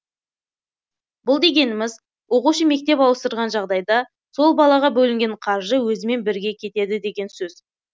бұл дегеніміз оқушы мектеп ауыстырған жағдайда сол балаға бөлінген қаржы өзімен бірге кетеді деген сөз